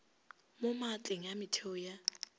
mo maatleng a metheo ya